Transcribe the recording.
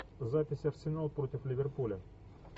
запись арсенал против ливерпуля